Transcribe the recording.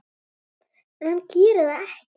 En hann gerir það ekki.